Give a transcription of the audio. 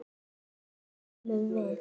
Hvers vegna sofum við?